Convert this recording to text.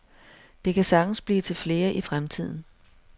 Det kan sagtens blive til flere i fremtiden.